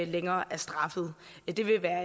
længere er straffet det vil være